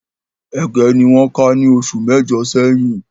Ége ni wọ́n ká ní oṣù mẹ́jọ̀ sẹ́yìn